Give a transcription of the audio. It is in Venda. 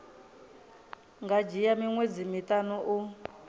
nga dzhia miṅwedzi miṱanu u